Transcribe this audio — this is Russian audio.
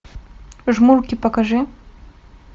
жмурки покажи